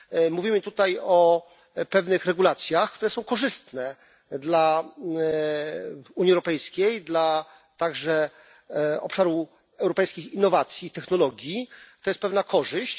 Mówimy tutaj o pewnych regulacjach, które są korzystne dla Unii Europejskiej, a także dla obszaru europejskich innowacji i technologii. To jest pewna korzyść.